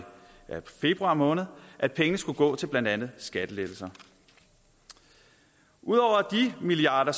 februar måned at pengene skulle gå til blandt andet skattelettelser ud over de milliarder